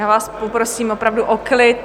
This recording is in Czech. Já vás poprosím opravdu o klid.